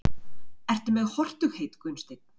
Ertu með hortugheit Gunnsteinn?